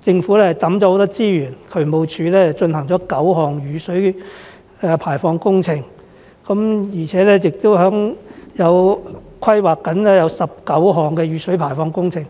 政府投放了很多資源，例如渠務署進行了9項雨水排放工程，並正在規劃19項雨水排放工程。